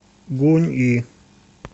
гунъи